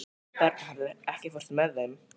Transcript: Bernharð, ekki fórstu með þeim?